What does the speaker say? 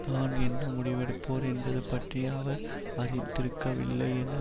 தான் என்ன முடிவெடுப்போர் என்பது பற்றி அவர் அறிந்திருக்கவில்லை என